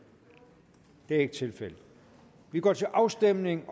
det er ikke tilfældet og vi går til afstemning